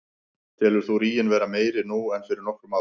Telur þú ríginn vera meiri nú en fyrir nokkrum árum?